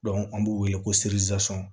an b'u wele ko